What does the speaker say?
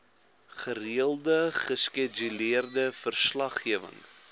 gereelde geskeduleerde verslaggewing